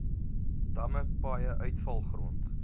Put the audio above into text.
damme paaie uitvalgrond